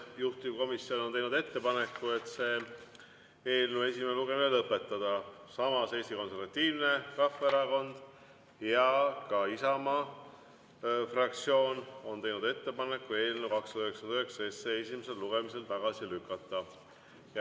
Juhtivkomisjon on teinud ettepaneku eelnõu esimene lugemine lõpetada, samas Eesti Konservatiivne Rahvaerakond ja ka Isamaa fraktsioon on teinud ettepaneku eelnõu 299 esimesel lugemisel tagasi lükata.